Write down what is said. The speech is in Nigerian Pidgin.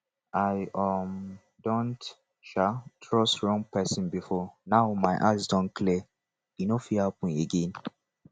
i um don um trust wrong person before now my eyes don clear e no fit happen again